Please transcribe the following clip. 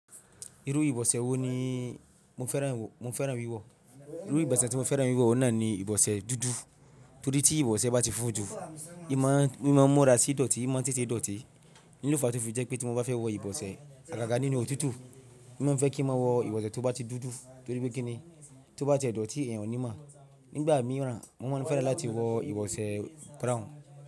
Irú ìbọ̀sẹ̀ wo ni mo fẹ́ràn wíwọ̀? Irú ìbọ̀sẹ̀ tí mo fẹ́ràn wíwọ̀ náà ni ìbọ̀sẹ̀ dúdú, torí tí ìbọ̀sẹ̀ bá ti fójú, imọ́ra sí ìdọ̀tí, mọ́ tètè dọ̀tí. In lo fa tòfì jẹ́ pé tí mo bá fẹ́ wọ ìbọ̀sẹ̀ agàgà nínú òtútù, mo máa fẹ́ kí mo wọ ìbọ̀sẹ̀ tó bá ti dúdú torí pé kíni tó bá ti dọ̀tí èèyàn ò ní mọ̀. Nígbà mìíràn, mo máa ń fẹ́ràn láti wọ ìbọ̀sẹ̀ brown.